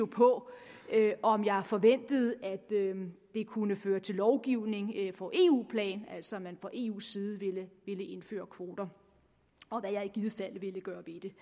på om jeg forventede at det kunne føre til lovgivning på eu plan altså at man fra eus side ville indføre kvoter og hvad jeg i givet fald ville gøre ved det